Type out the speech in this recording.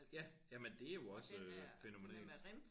Ja jamen det er jo også øh fænomenalt